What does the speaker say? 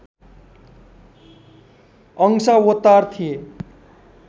अंशावतार थिए